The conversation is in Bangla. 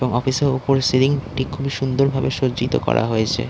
এবং অফিস -এর ওপরে সিলিং -টি খুবই সুন্দরভাবে সজ্জিত করা হয়েছে ।